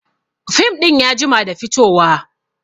Fim ɗin ya jima da fito wa